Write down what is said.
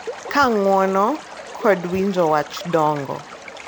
Ka ng’uono kod winjo wach dongo,